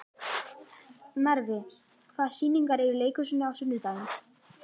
Narfi, hvaða sýningar eru í leikhúsinu á sunnudaginn?